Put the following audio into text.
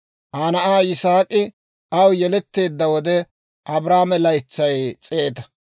Aa na'aa Yisaak'i aw yeletteedda wode, Abrahaame laytsay s'eeta.